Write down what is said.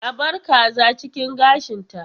A bar kaza cikin gashinta.